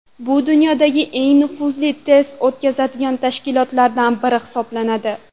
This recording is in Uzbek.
Bu dunyodagi eng nufuzli test o‘tkazadigan tashkilotlardan biri hisoblanadi.